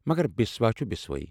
مگر بسوا چھُ بسواہٕے۔